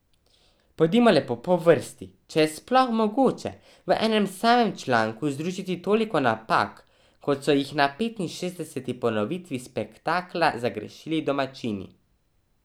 Pojdimo lepo po vrsti, če je sploh mogoče v enem samem članku združiti toliko napak, kot so jih na petinšestdeseti ponovitvi spektakla zagrešili domačini.